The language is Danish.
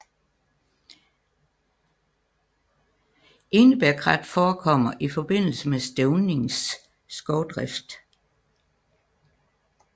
Enebærkrat forekommer i forbindelse med stævningsskovdrift